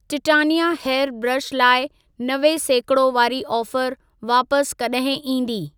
Titania hair brush लाइ नवे सेकिड़ो वारी ऑफर वापस कॾहिं ईंदी?